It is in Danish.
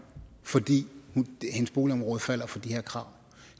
fordi hendes boligområde falder for de her krav